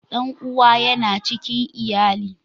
Dan'uwa yana cikin iyali.